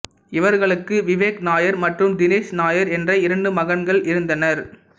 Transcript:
இவர்களுக்கு விவேக் நாயர் மற்றும் தினேஷ் நாயர் என்ற இரண்டு மகன்கள் இருந்தனர்